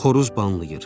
Xoruz banlayır.